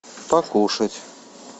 покушать